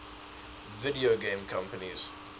video game companies